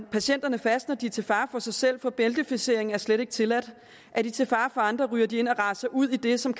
patienterne fast når de er til fare for sig selv for bæltefiksering er slet ikke tilladt og er de til fare for andre ryger de ind og raser ud i det som